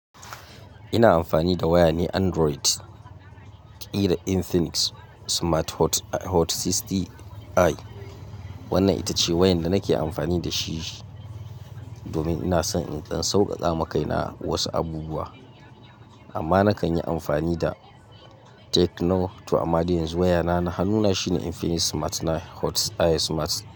Ina amfani da waya ne Android, kiran Infinix Smart Hot 60i. Wannan ita ce wayan da nake amfani da shi domin ina son in tsan sauƙaka makaina wasu abubuwa. Amma na kan yi amfani da Tecno to amma dai yanzu wayana na A nuna shine Infinix Smart 9 Hot i Smart.